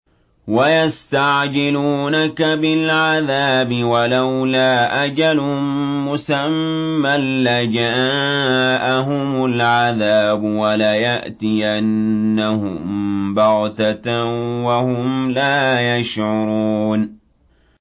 وَيَسْتَعْجِلُونَكَ بِالْعَذَابِ ۚ وَلَوْلَا أَجَلٌ مُّسَمًّى لَّجَاءَهُمُ الْعَذَابُ وَلَيَأْتِيَنَّهُم بَغْتَةً وَهُمْ لَا يَشْعُرُونَ